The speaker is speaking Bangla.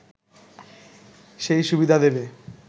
সেই সুবিধা দেবে